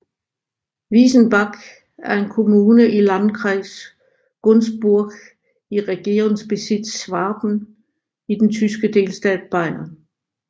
Wiesenbach er en kommune i Landkreis Günzburg i Regierungsbezirk Schwaben i den tyske delstat Bayern